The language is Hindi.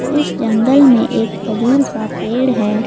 इस जंगल में एक खजूर का पेड़ है।